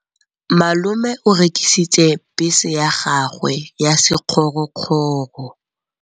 Malome o rekisitse bese ya gagwe ya sekgorokgoro.